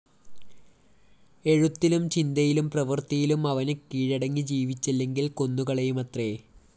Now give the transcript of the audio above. എഴുത്തിലും ചിന്തയിലും പ്രവൃത്തിയിലും അവന് കിഴടങ്ങി ജീവിച്ചില്ലെങ്കില്‍ കൊന്നുകളയുമത്രേ